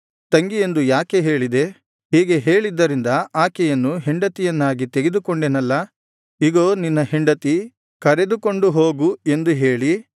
ತಂಗಿಯೆಂದು ಯಾಕೆ ಹೇಳಿದೆ ಹೀಗೆ ಹೇಳಿದ್ದರಿಂದ ಆಕೆಯನ್ನು ಹೆಂಡತಿಯನ್ನಾಗಿ ತೆಗೆದುಕೊಂಡೆನಲ್ಲಾ ಇಗೋ ನಿನ್ನ ಹೆಂಡತಿ ಕರೆದುಕೊಂಡು ಹೋಗು ಎಂದು ಹೇಳಿ